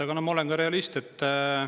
Aga ma olen ka realist.